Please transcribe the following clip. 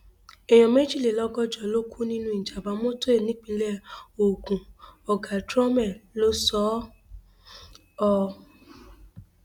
èèyàn méjìlélọgọjọ ló kú nínú ìjàmbá mọtò nípínlẹ ogun ọgá trome ló sọ ọ